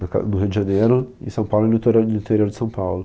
No ca. No Rio de Janeiro, em São Paulo e no interior, interior de São Paulo.